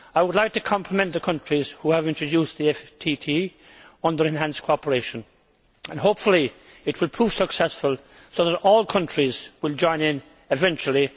I would like to compliment the countries who have introduced the FTT on their enhanced cooperation. Hopefully it will prove successful, so that all countries will join in eventually.